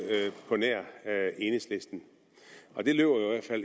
på nær enhedslisten og det løber